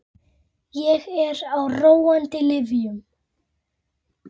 Ég er á róandi lyfjum.